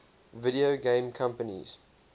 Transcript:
video game companies